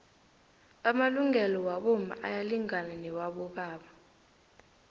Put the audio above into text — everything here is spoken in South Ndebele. amalungelo wabomma ayalingana nawabobaba